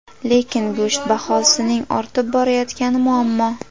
Lekin go‘sht bahosining ortib borayotgani muammo.